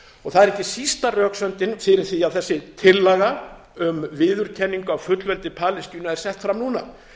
og það er ekki sísta röksemdin fyrir því að þessi tillaga um viðurkenningu á fullveldi palestínu er sett fram núna